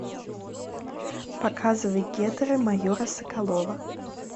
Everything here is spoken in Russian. показывай гетеры майора соколова